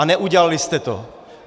A neudělali jste to.